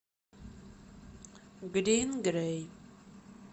грин грей